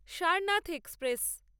Sarnath express